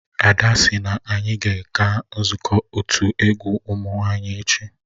Ada sị na anyị ga-aga nzukọ otu egwu ụmụ nwanyị echi